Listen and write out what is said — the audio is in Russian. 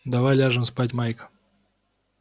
давай ляжем спать майк